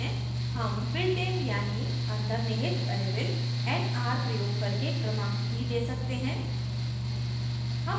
हम built in यानी अन्तर्निहित variable nr प्रयोग करके क्रमांक भी we सकते हैं